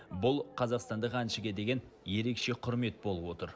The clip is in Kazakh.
бұл қазақстандық әншіге деген ерекше құрмет болып отыр